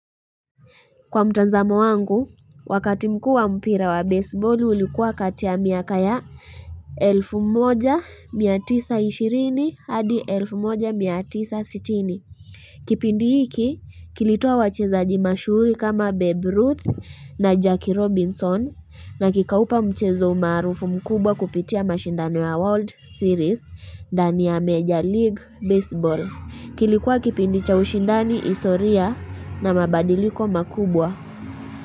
Kwa mtazamo wangu, wakati mkuu wa mpira wa baseball ulikuwa kati ya miaka ya elfu moja mia tisa ishirini hadi elfu moja mia tisa sitini. Kipindi hiki, kilitoa wachezaji mashuhuri kama Babe Ruth na Jackie Robinson na kikaupa mchezo umaarufu mkubwa kupitia mashindano ya World Series ndani ya Major League Baseball. Kilikuwa kipindi cha ushindani historia na mabadiliko makubwa.